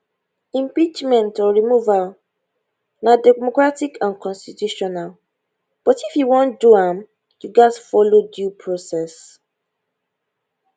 impeachment or removal na democratic and constitutional but if you wan do am you gatz follow due process